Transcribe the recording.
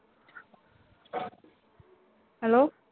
hello